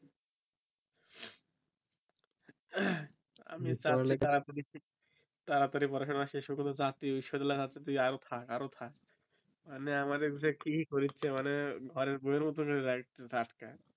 আমি পড়ালেখা তাড়াতাড়ই পড়াশোনা শেষ ও করে চাকরি ঈশ্বর ও লাগিতে তুই আরও থাক আরও থাক মানে আমারে বিষয়ে কি কইছে মানে ঘরের বউ আর মতন করে রাকছে